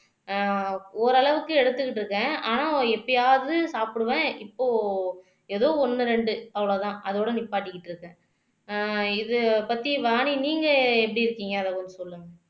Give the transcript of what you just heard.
ஆஹ் ஓரளவுக்கு எடுத்துக்கிட்டு இருக்கேன் ஆனா எப்பயாவது சாப்பிடுவேன் இப்போ ஏதோ ஒண்ணு ரெண்டு அவ்ளோதான் அதோட நிப்பாட்டிக்கிட்டு இருக்கேன் ஆஹ் இது பத்தி வாணி நீங்க எப்படி இருக்கீங்க அத கொஞ்சம் சொல்லுங்க